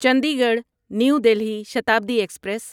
Chandigarh new Delhi Shatabdi express